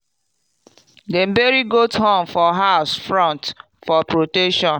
dem bury goat horn for house front for protection.